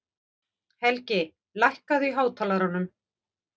Helgi, lækkaðu í hátalaranum.